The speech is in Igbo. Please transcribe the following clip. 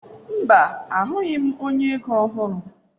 Mba, ahụghị m onye ego ego ọhụrụ.